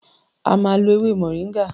O ma lo ewé moringa!